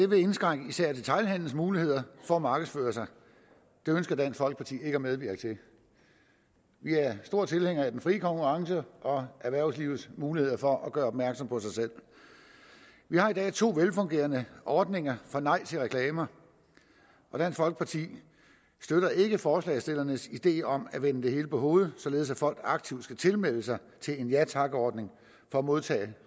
vil indskrænke især detailhandelens muligheder for markedsføring det ønsker dansk folkeparti ikke at medvirke til vi er store tilhængere af den frie konkurrence og erhvervslivets muligheder for at gøre opmærksom på sig selv vi har i dag to velfungerende ordninger for et nej til reklamer og dansk folkeparti støtter ikke forslagsstillernes idé om at vende det hele på hovedet således at folk aktivt skal tilmelde sig en ja tak ordning for at modtage